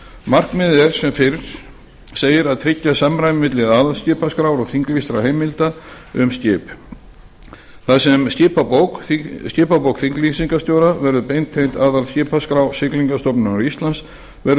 markmiðið er sem fyrr segir að tryggja samræmi milli aðalskipaskrár og þinglýstra heimilda um skip þar sem skipabók þinglýsingarstjóra verður beintengd aðalskipaskrá siglingastofnunar íslands verður